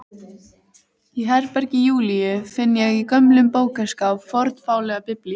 Í herbergi Júlíu finn ég í gömlum bókaskáp fornfálega Biblíu.